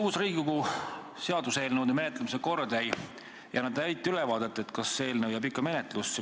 Uus Riigikogu seaduseelnõude menetlemise kord ei anna täit ülevaadet, kas see eelnõu jääb ikkagi menetlusse.